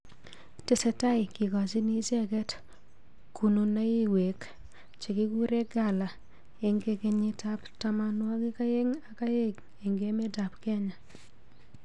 tesetai kikochini icheket kunonuiwek chekikure gala enge kenyit ab tamanwagik aeng aka aeng eng emet ab Kenya.